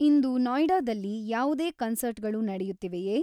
ಇಂದು ನೋಯ್ಡಾದಲ್ಲಿ ಯಾವುದೇ ಕನ್ಸರ್ಟ್ ಗಳು ನಡೆಯುತ್ತಿವೆಯೇ